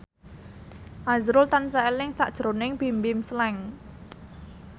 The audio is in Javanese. azrul tansah eling sakjroning Bimbim Slank